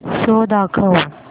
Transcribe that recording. show दाखव